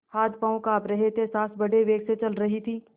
हाथपॉँव कॉँप रहे थे सॉँस बड़े वेग से चल रही थी